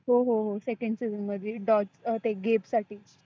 हो हो हो second season मध्ये dog अ ते gate साठी.